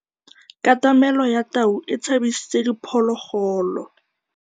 Katamêlô ya tau e tshabisitse diphôlôgôlô.